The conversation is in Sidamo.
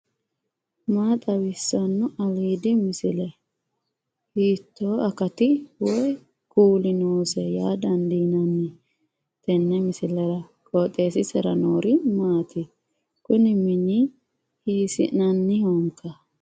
maa xawissanno aliidi misile ? hiitto akati woy kuuli noose yaa dandiinanni tenne misilera? qooxeessisera noori maati ? kuni mmini hiissinannihoikka